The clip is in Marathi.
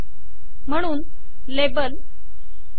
म्हणून लेबल - फ्रुट्स